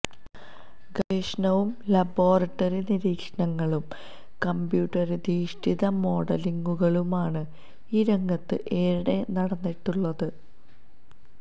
ഗവേഷണവും ലബോറട്ടറി നിരീക്ഷണങ്ങളും കമ്പ്യൂട്ടറിധിഷ്ഠിത മോഡലിംഗുകളുമാണ് ഈ രംഗത്ത് ഏറെ നടന്നിട്ടുള്ളത്